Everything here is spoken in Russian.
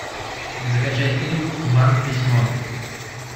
закачай фильм вам письмо